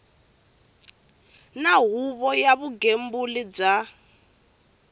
na huvo ya vugembuli bya